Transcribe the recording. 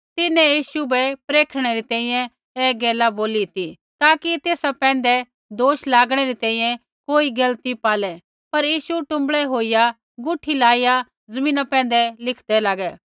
तिन्हैं यीशु बै परखणै री तैंईंयैं ऐ गैल बोली ती ताकि तेसा पैंधै दोष लागणै री तैंईंयैं कोई गलती पालै पर यीशु टुँबड़ै होईया गुठी लाईया ज़मीना पैंधै लिखदै लागै